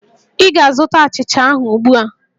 Ị ga-azụta achịcha ahụ ugbu a!